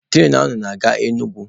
Turainu nke a na-aga Enugwu.